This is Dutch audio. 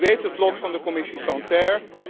En u kent het lot van de Commissie Santer.